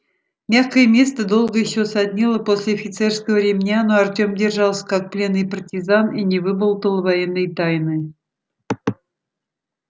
мягкое место долго ещё саднило после офицерского ремня но артём держался как пленный партизан и не выболтал военной тайны